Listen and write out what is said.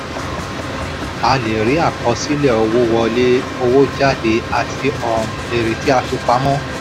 a lè rí àkọsílẹ̀ owó wọlé owó jáde àti um èrè tí a fi pamọ́.